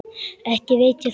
Ekki veit ég það.